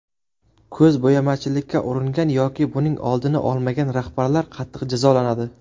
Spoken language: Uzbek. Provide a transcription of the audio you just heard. Ko‘zbo‘yamachilikka uringan yoki buning oldini olmagan rahbarlar qattiq jazolanadi.